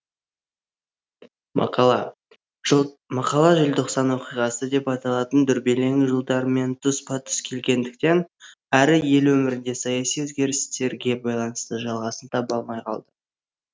мақала желтоқсан оқиғасы деп аталатын дүрбелең жылдармен тұспа тұс келгендіктен әрі ел өміріндегі саяси өзгерістерге байланысты жалғасын таба алмай қалды